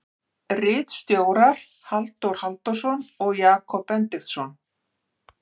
Ritstjórar Halldór Halldórsson og Jakob Benediktsson.